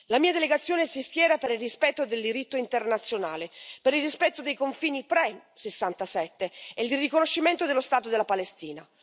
La mia delegazione si schiera per il rispetto del diritto internazionale, per il rispetto dei confini pre 1967 e il riconoscimento dello Stato della Palestina.